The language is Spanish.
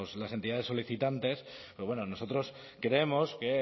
las entidades solicitantes pero bueno nosotros creemos que